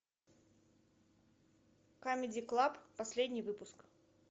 камеди клаб последний выпуск